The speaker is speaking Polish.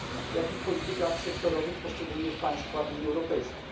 jak i w politykach sektorowych w poszczególnych państwach Unii Europejskiej.